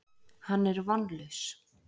Hann er vonlaus.